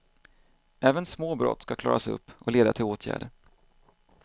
Även små brott ska klaras upp och leda till åtgärder.